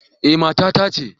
Eh, mata ta ce